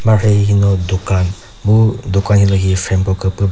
mharhe hihino dukan mu duka hilühi frame ko küpü ba --